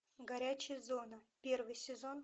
горячая зона первый сезон